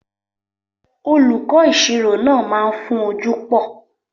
Olùkọ́ ìṣirò náà máa ń fún ojú pò